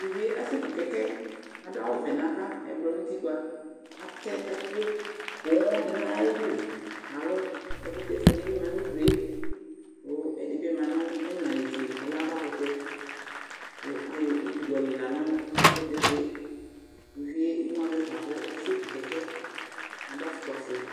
Uvie asekʋ kɛkɛ Adʋ awʋvɛ nʋ ava, ɛblɔ nʋ utikpǝ Atɛ ɛkʋ poo dɩ nʋ ayʋ ɩdʋ Alo ɛkʋtɛ fue dɩ bɩ ma nʋ ayidʋ yɛ, kʋ ɛdɩ bɩ ma nʋ imla netse, ɔlɛ avakʋtɛ Kʋ ayɔ utu dɩ yɔ lila nʋ ɛkʋtɛfue yɛ Uvi yɛ ɩmʋavɛ fa kʋ asekʋ kɛkɛ Adʋ afʋkpafue